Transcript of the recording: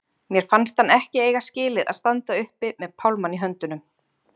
Mér fannst hann ekki eiga skilið að standa uppi með pálmann í höndunum.